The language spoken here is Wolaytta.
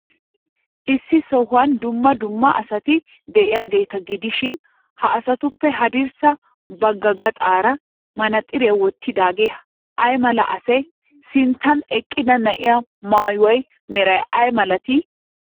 Issi sohuwan dumma dumma asati de'iyaageeti gidishin, ha asatuppe haddirssa bagga gaxaara manaxiriyaa wottidaagee ay mala asee? Sinttan eqqida na'ee maayuwaa meray ay malatii?